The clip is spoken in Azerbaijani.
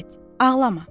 Get, ağlama.